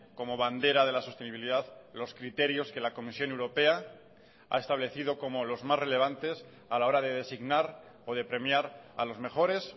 como bandera de la sostenibilidad los criterios que la comisión europea ha establecido como los más relevantes a la hora de designar o de premiar a los mejores